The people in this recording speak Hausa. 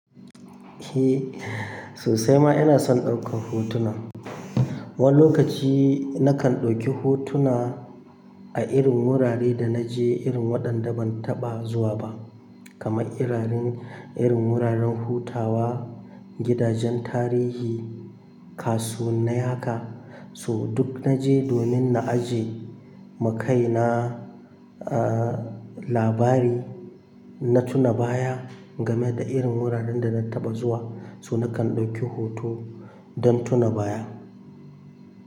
Eh, sosai ma ina son ɗaukan hotuna. Wani lokaci nakan ɗauki hotuna a irin wuraren da na je, irin waɗanda ban taɓa zuwa ba. Kamar irarin, irin wuraren hutawa, gidajen tarihi, kasuwannai haka, su duk na je domin na ajiye makai na, labari, in na tuna baya game da irin wuraren da na taɓa zuwa, so nakan ɗauki hoto don tuna baya.